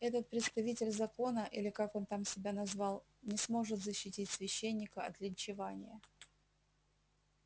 этот представитель закона или как он там себя назвал не сможет защитить священника от линчевания